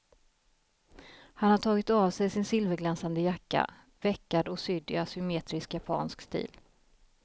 Han har tagit av sig sin silverglänsande jacka, veckad och sydd i asymetrisk japansk stil.